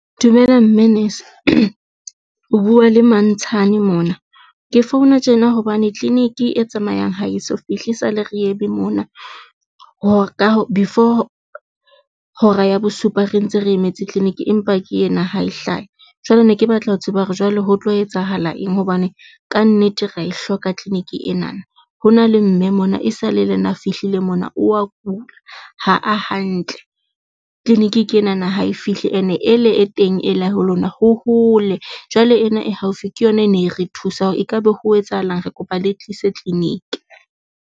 Dumela mme nese o bua le Mantshane mona. Ke founa tjena hobane clinic e tsamayang ha eso fihle esale re eme mona hore before hora ya bosupa re ntse re emetse clinic, empa ke yena ha e hlahe. Jwale ne ke batla ho tseba hore jwale ho tlo etsahala eng hobane kannete re e hloka clinic e nana. Ho na le mme mona e sale lena a fihlile mona o a kula, ha a hantle clinic ke ena na ha e fihle ene ele e teng ela ho lona ho hole jwale ena e haufi ke yona, e ne re thusa hore ekabe ho etsahalang. Re kopa le tlise clinic.